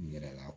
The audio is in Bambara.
N yɛrɛ la